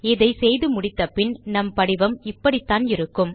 இதை செய்து முடித்த பின் நம் படிவம் இப்படித்தான் இருக்கும்